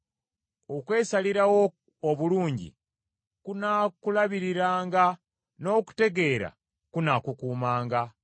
Okwesalirawo obulungi kunaakulabiriranga n’okutegeera kunaakukuumanga: